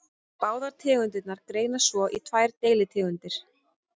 Báðar tegundirnar greinast svo í tvær deilitegundir.